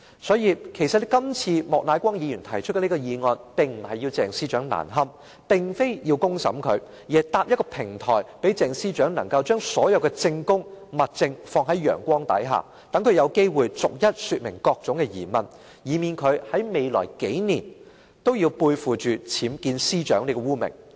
所以，其實今次莫乃光議員提出這項議案，並非要鄭司長難堪，並非要公審她，而是搭建一個平台，讓鄭司長把所有的證供和物證放在陽光之下，讓她有機會逐一說明各種疑問，以免她在未來數年的任期內背負"僭建司長"這個污名。